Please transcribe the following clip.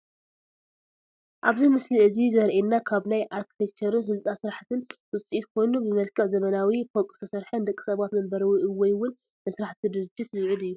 ኣብዚ ምስሊ እዚ ዘሪኤና ካብ ናይ ኣርክትቸርን ህንፃ ስራሕትን ውፅኢት ኮይኑ ብመልክዕ ዘበናዊ ፎቅ ዝተሰርሐ ንደቂ ሰባት መንበሪ ወይእውን ንስራሕቲ ድርጅት ዝውዕል እዩ፡፡